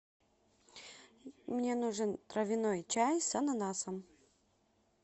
мне нужен травяной чай с ананасом